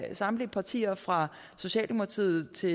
samtlige partier fra socialdemokratiet til